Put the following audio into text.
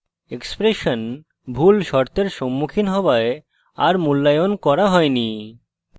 expression ভুল শর্তের সম্মুখীন হওয়ায় a মূল্যায়ন করা হয়নি